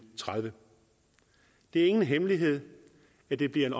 tredive det er ingen hemmelighed at det bliver en